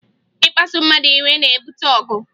Ịkpasụ mmadụ iwe na-ebute ọgụ